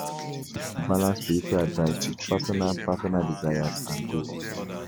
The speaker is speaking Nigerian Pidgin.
E good to balance spiritual advice with personal personal desires and goals.